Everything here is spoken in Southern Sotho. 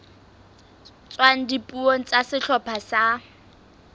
tswang dipuong tsa sehlopha sa